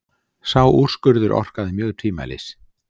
Sá úrskurður orkaði mjög tvímælis.